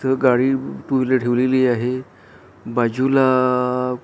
इथ गाडी two wheeler ठेवलेली आहे बाजूलाआआ --